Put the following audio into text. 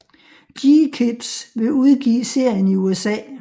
GKIDS vil udgive serien i USA